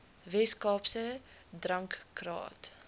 wes kaapse drankraad